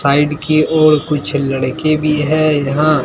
side की ओर कुछ लड़के भी है यहां--